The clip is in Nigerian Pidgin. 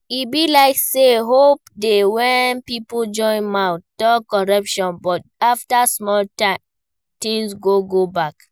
E be like sey hope dey when pipo join mouth talk corruption but after small time things go go back